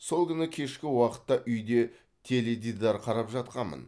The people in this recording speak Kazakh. сол күні кешкі уақытта үйде теледидар қарап жатқанмын